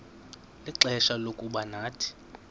ixfsha lokuba nathi